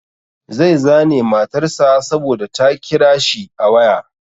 Zai zane matar sa saboda ta kira shi a waya.